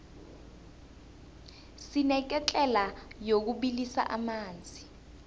sineketlela yokubilisa amanzi